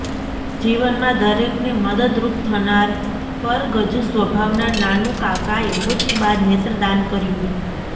જીવનમાં દરેકને મદદરૃપ થનાર પરગજુ સ્વભાવના નાનુકાકાએ મૃત્યુ બાદ નેત્રદાન કર્યુ